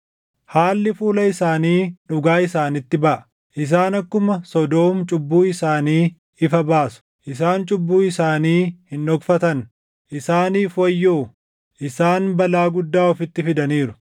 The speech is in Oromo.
Haalli fuula isaanii dhugaa isaanitti baʼa; isaan akkuma Sodoom cubbuu isaanii ifa baasu; isaan cubbuu isaanii hin dhokfatan. Isaaniif wayyoo! Isaan balaa guddaa ofitti fidaniiru.